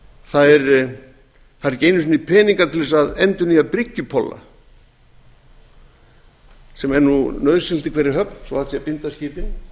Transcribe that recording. það eru ekki einu sinni peningar til að endurnýja bryggjupolla sem eru nauðsynlegir í hverri höfn svo hægt sé að binda skipin